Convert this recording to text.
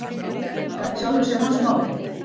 En það er í sjálfu sér hans mál.